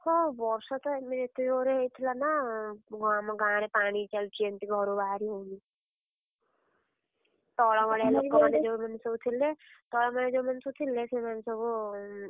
ହଁ ବର୍ଷା ତ ଏତେ ଜୋରେ ହଉଥିଲା ନା ଆମ ଗାଁରେ ପାଣି ଚାଲୁଛି ଏମିତି ଘରୁ ବାହାରି ହଉନି। ତଳମାଳିଆ ଲୋକମାନେ ଯୋଉ ମାନେ ସବୁ ଥିଲେ, ତଳମାଳିଆ ଯୋଉମାନେ ସବୁ ଥିଲେ ସେମାନେ ସବୁ।